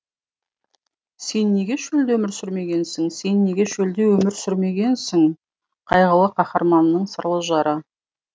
сен неге шөлде өмір сүрмегенсің сен неге шөлде өмір сүрмегенсің қайғылы қаһарманның сырлы жары